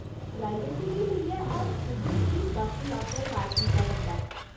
Privacy गी लेइयै हर स्टूडेंट गी बक्ख लाकर अलाट कीता जंदा ऐ।